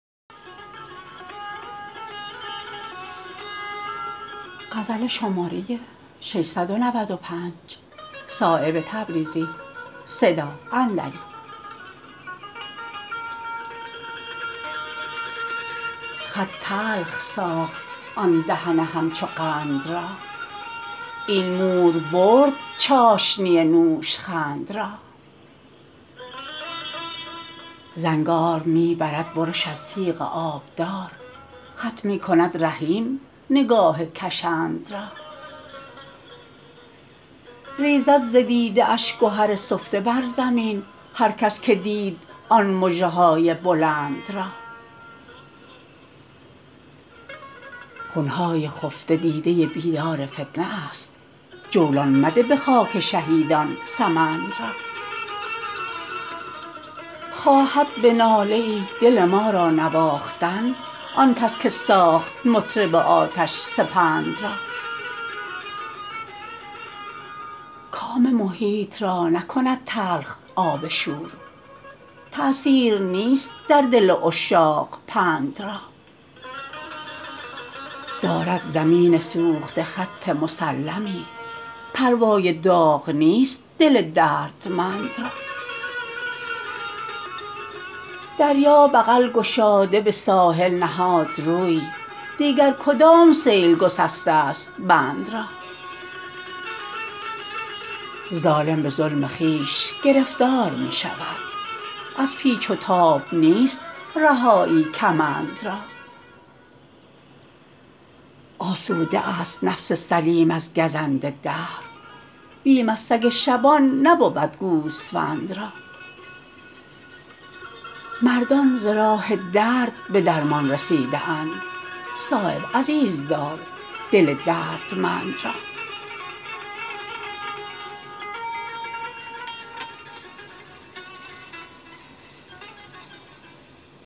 خط تلخ ساخت آن دهن همچو قند را این مور برد چاشنی نوشخند را زنگار می برد برش از تیغ آبدار خط می کند رحیم نگاه کشند را ریزد ز دیده اش گهر سفته بر زمین هر کس که دید آن مژه های بلند را خون های خفته دیده بیدار فتنه است جولان مده به خاک شهیدان سمند را خواهد به ناله ای دل ما را نواختن آن کس که ساخت مطرب آتش سپند را کام محیط را نکند تلخ آب شور تأثیر نیست در دل عشاق پند را دارد زمین سوخته خط مسلمی پروای داغ نیست دل دردمند را دریا بغل گشاده به ساحل نهاد روی دیگر کدام سیل گسسته است بند را ظالم به ظلم خویش گرفتار می شود از پیچ و تاب نیست رهایی کمند را آسوده است نفس سلیم از گزند دهر بیم از سگ شبان نبود گوسفند را مردان ز راه درد به درمان رسیده اند صایب عزیزدار دل دردمند را